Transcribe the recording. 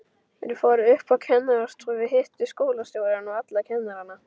Þær fóru upp á kennarastofu, hittu skólastjórann og alla kennarana.